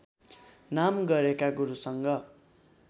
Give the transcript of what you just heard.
नाम गरेका गुरुसँग